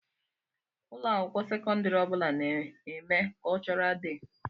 Ụlọakwụkwọ sekondari ọbula na-eme kultural dei.